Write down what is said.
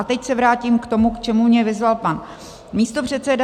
A teď se vrátím k tomu, k čemu mě vyzval pan místopředseda.